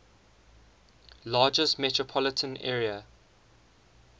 largest metropolitan area